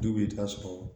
Du bɛ yen i bɛ t'a sɔrɔ